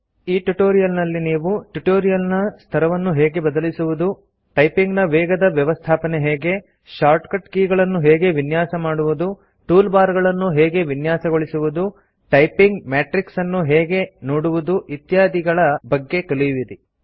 ಈ ಟ್ಯುಟೋರಿಯಲ್ ನಲ್ಲಿ ನೀವು ಟ್ಯುಟೋರಿಯಲ್ ನ ಸ್ತರವನ್ನು ಹೇಗೆ ಬದಲಿಸುವುದು ಟೈಪಿಂಗ್ ನ ವೇಗದ ವ್ಯವಸ್ಥಾಪನೆ ಹೇಗೆ ಶಾರ್ಟ್ಕಟ್ ಕೀಗಳನ್ನು ಹೇಗೆ ವಿನ್ಯಾಸಮಾಡುವುದು ಟೂಲ್ ಬಾರ್ ಗಳನ್ನು ಹೇಗೆ ವಿನ್ಯಾಸಗೊಳಿಸುವುದು ಟೈಪಿಂಗ್ ಮೆಟ್ರಿಕ್ಸ್ ಅನ್ನು ಹೇಗೆ ನೋಡುವುದು ಇತ್ಯಾದಿಗಳ ಬಗ್ಗೆ ಕಲಿಯುವಿರಿ